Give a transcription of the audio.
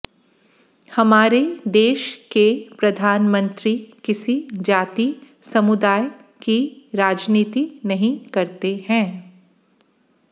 हमारे देश के प्रधानमंत्री किसी जाति समुदाय की राजनीति नही करते है